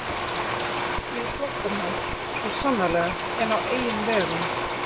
Ég er flóttamaður, svo sannarlega, en á eigin vegum